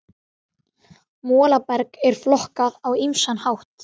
Molaberg er flokkað á ýmsan hátt.